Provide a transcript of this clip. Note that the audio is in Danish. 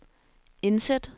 indsæt